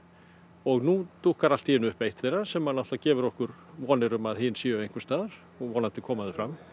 og nú dúkkar allt í einu upp eitt þeirra sem auðvitað gefur okkur vonir um að hin séu einhvers staðar og vonandi koma þau fram